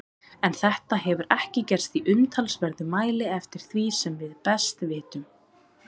En þetta hefur ekki gerst í umtalsverðum mæli eftir því sem við best vitum.